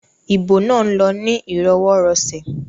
Ibo náà lọ ní ìrọwọirọ̀sẹ̀